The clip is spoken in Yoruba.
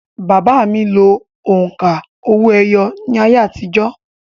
Bàbá mi lo òǹkà owó-ẹyọ ní ayé àtijọ́